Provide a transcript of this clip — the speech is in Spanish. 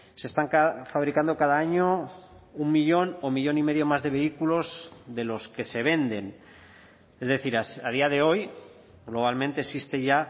se están fabricando cada año un millón o millón y medio más de vehículos de los que se venden es decir a día de hoy globalmente existe ya